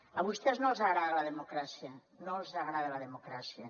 a vostès no els agrada la democràcia no els agrada la democràcia